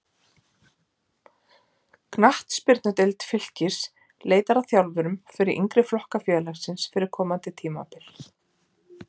Knattspyrnudeild Fylkis leitar að þjálfurum fyrir yngri flokka félagsins fyrir komandi tímabil.